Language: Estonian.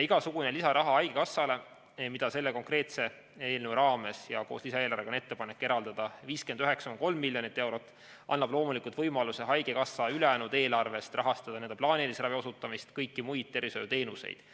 Lisaraha haigekassale, mida selle konkreetse eelnõu raames ja koos lisaeelarvega on ettepanek eraldada 59,3 miljonit eurot, annab loomulikult võimaluse haigekassa ülejäänud eelarvest rahastada plaanilise ravi osutamist, kõiki muid tervishoiuteenuseid.